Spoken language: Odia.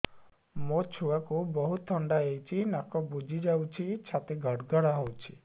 ମୋ ଛୁଆକୁ ବହୁତ ଥଣ୍ଡା ହେଇଚି ନାକ ବୁଜି ଯାଉଛି ଛାତି ଘଡ ଘଡ ହଉଚି